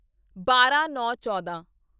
ਬਾਰਾਂਨੌਂਚੌਦਾਂ